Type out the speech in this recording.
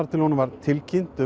til honum var tilkynnt